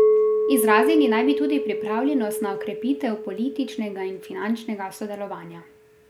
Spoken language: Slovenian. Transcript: Izrazili naj bi tudi pripravljenost na okrepitev političnega in finančnega sodelovanja.